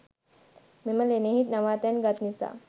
මෙම ලෙනෙහි නවාතැන් ගත් නිසා